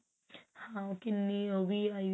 ਹਾਂ ਕਿੰਨੀ ਉਹ ਵੀ ਆਈ